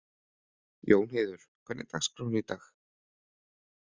Jónheiður, hvernig er dagskráin í dag?